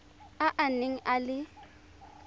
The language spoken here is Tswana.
a a neng a le